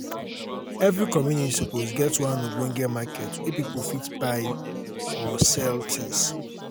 every community suppose get one ogbonge market wey pipos fit buy um or sell um tins.